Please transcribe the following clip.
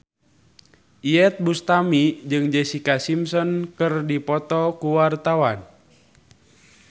Iyeth Bustami jeung Jessica Simpson keur dipoto ku wartawan